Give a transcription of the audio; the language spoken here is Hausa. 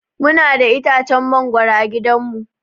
Muna da itacen mangoro a gidan mu.